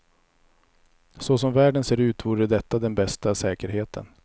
Så som världen ser ut vore detta den bästa säkerheten.